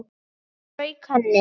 Strauk henni.